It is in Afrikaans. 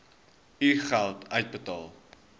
u geld uitbetaal